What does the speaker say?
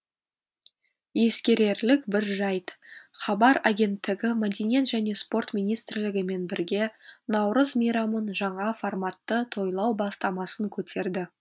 ескерерлік бір жайт хабар агенттігі мәдениет және спорт министрлігімен бірге наурыз мейрамын жаңа форматты тойлау бастамасын көтерді